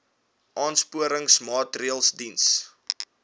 aansporingsmaatre ls diens